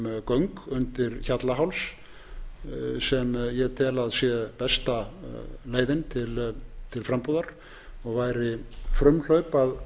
göng undir hjallaháls sem ég tel að sé besta leiðin til frambúðar og væri frumhlaup að